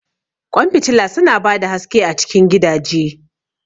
Ƙwan fitila su na ba da haske a cikin gidaje